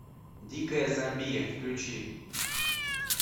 дикая замбия включи